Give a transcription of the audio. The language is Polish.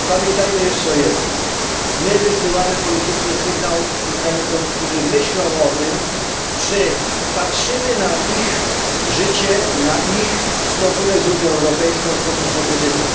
Pamiętajmy jeszcze o jednym, my wysyłamy polityczny sygnał Ukraińcom, którzy myślą o tym, czy patrzymy na ich życie, na ich stosunek z Unią Europejską w sposób pozytywny.